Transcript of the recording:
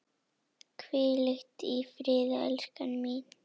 Hvíl í friði, elskan mín.